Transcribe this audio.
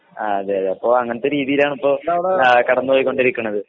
അതേയതേ അപ്പോ അങ്ങനത്തെ രീതിയിലാണ് ഇപ്പോ കടന്നുപോയിക്കൊണ്ടിരിക്കണത്